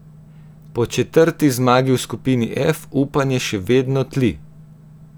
Po četrti zmagi v skupini F upanje še vedno tli.